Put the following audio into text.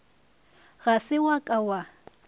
ga se wa ka wa